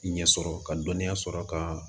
Ɲɛ sɔrɔ ka dɔnniya sɔrɔ ka